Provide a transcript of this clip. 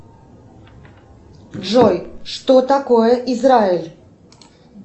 джой что такое израиль